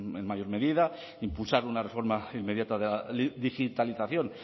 en mayor medida impulsar una reforma inmediata de la digitalización